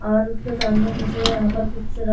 और उसके सामने मुझे यहाँ पर कुछ रख --